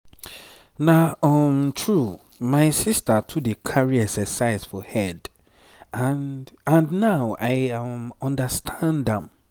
na um true my sister too dey carry exercise for head and and now i um understand am.